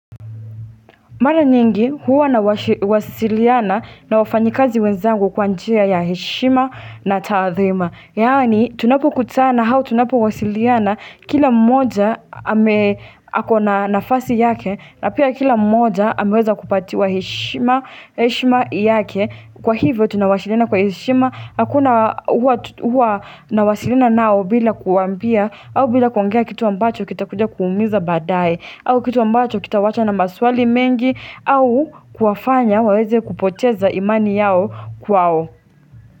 Maraa nyingi huwa nawa wasiliana na wafanyikazi wenzangu kwa njia ya heshima na tathima. Yaani tunapokutana hau tunapowasiliana kila mmoja amee ako na nafasi yake na pia kila mmoja ameweza kupatiwa heshiima nheshima yake. Kwa hivyo tunawashilina kwa heshima hakuna hua huwa nawasilina nao bila kuwambia au bila kuongea kitu ambacho kitakuja kuumiza baadae. Au kitu ambacho kitawachwa na maswali mengi au kuwafanya waweze kupoteza imani yao kwao.